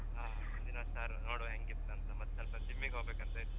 ನೋಡ್ವ ಹೇಂಗಿತ್ತ್ ಅಂತ ಮತ್ತೆ ಸ್ವಲ್ಪ gym ಗೆ ಹೋಗ್ವ ಅಂತ ಇತ್ತ್.